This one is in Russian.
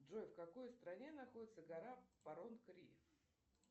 джой в какой стране находится гора парон кри